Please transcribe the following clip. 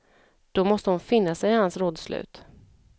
Då måste hon finna sig i hans rådslut.